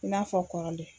I n'a fɔ kɔrɔlen